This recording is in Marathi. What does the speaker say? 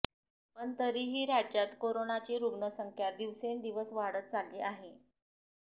पण तरीही राज्यात कोरोनाची रुग्णसंख्या दिवसेंदिवस वाढत चालली आहे